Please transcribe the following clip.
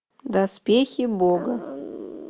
доспехи бога